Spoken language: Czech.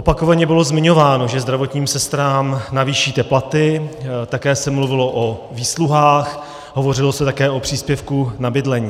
Opakovaně bylo zmiňováno, že zdravotním sestrám navýšíte platy, také se mluvilo o výsluhách, hovořilo se také o příspěvku na bydlení.